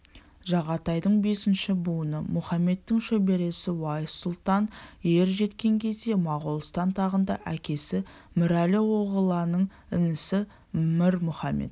жағатайдың бесінші буыны мұхамедтің шөбересі уайс сұлтан ер жеткен кезде моғолстан тағында әкесі мірәлі оғыланның інісі мір мұхамед